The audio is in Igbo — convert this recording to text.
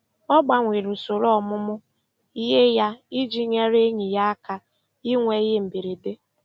Ọ gbanwere usoro ọmụmụ ihe ya iji nyere enyi ya aka inwe ihe mberede.